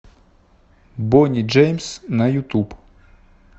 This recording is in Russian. бони джеймс на ютуб